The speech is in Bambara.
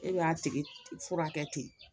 E b'a tigi furakɛ ten